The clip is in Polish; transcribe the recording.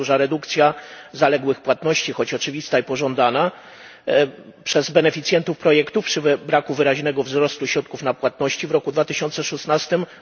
Tak duża redukcja zaległych płatności, choć oczywista i pożądana przez beneficjentów projektów, przy braku wyraźnego wzrostu środków na płatności w 2016 r.